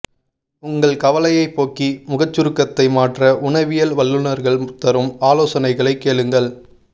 உங்கள் கவலையை போக்கி முகச்சுருக்கத்தை மாற்ற உணவியல் வல்லுநர்கள் தரும் ஆலோசனைகளை கேளுங்கள்